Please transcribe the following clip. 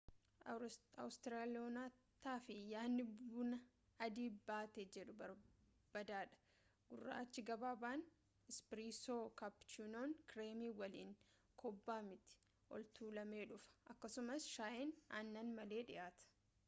awustiraaliyaanotaaf yaadni buna ‘adii battee’ jedhu baadaadha. gurraachi gabaabaan ‘ispireesoo’ kaappuchiinoon kireemii waliin kobbaa miti ol-tuulamee dhufa akkasumas shaayiin aannan malee dhiyaata